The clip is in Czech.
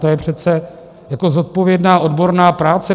To je přece jako zodpovědná odborná práce.